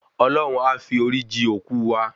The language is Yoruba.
Olọ́hun a fi orí ji òkú wa